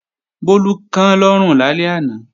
Bólú kán lọ́rùn lálẹ́ àná